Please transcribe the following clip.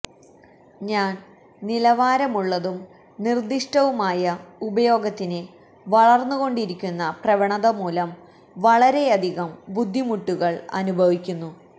ഞാൻ നിലവാരമുള്ളതും നിർദ്ദിഷ്ടവുമായ ഉപയോഗത്തിന് വളർന്നുകൊണ്ടിരിക്കുന്ന പ്രവണത മൂലം വളരെയധികം ബുദ്ധിമുട്ടുകൾ അനുഭവിക്കുന്നു